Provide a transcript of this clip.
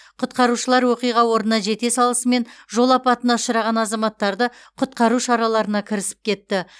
құтқарушылар оқиға орнына жете салысымен жол апатына ұшыраған азаматтарды құтқару шараларына кірісіп кетті